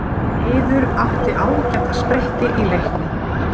Eiður átti ágæta spretti í leiknum